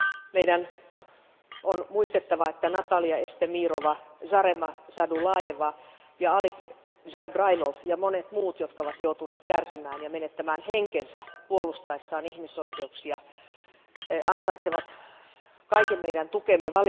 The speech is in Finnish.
Meidän on muistettava, että Natalia Estemirova, Zarema Zadulajeva ja Ali Zabrailov ja monet muut, jotka ovat joutuneet kärsimään ja menettämään henkensä puolustaessaan ihmisoikeuksia, ansaitsevat kaiken meidän tukemme.